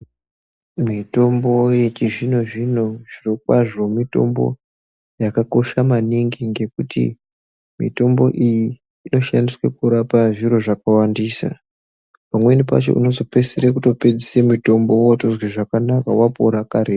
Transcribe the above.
Mitombo yechizino-zvino zviro kazvo mitombo yakakosha maningi ngekuti mitombo iyi inoshandiswe kurapa zviro zvakawandisa. Pamweni pacho unozopedzisire kupedza mitombo votozwe zvakanaka vapore karetu.